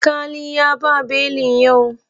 Aƙali ya ba belin yau.